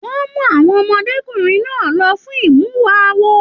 Wọn mú àwọn ọmọdékunrin náà lọ fún imuwọ̀ awo.